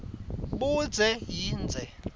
budze yindze